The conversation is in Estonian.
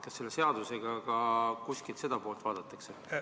Kas selle seaduseelnõuga ka seda poolt silmas peetakse?